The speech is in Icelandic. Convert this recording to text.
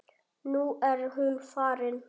Nú er hún farin.